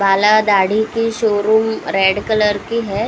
बाल और दाढ़ी की शोरूम रेड कलर की है।